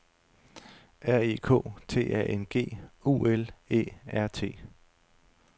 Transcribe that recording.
R E K T A N G U L Æ R T